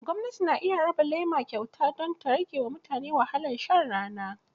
Gwamnati na iya raba lema kyauta don ta rage wa mutane wahalar shan rana